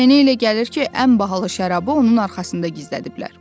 Mənə elə gəlir ki, ən bahalı şərabı onun arxasında gizlədiblər.